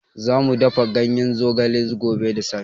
Za mu dafa ganyen zogale gobe da safe.